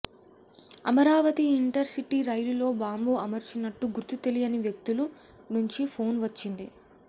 Amaravati intercity రైలులో బాంబు అమర్చినట్టు గుర్తు తెలియని వ్యక్తుల నుంచి ఫోన్ వచ్చింది